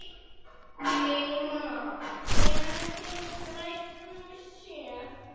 Vígmar, hvenær kemur strætó númer sjö?